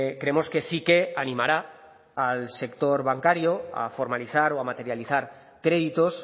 creemos que sí que animará al sector bancario a formalizar o a materializar créditos